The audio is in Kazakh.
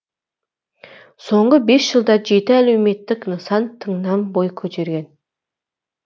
соңғы бес жылда жеті әлеуметтік нысан тыңнан бой көтерген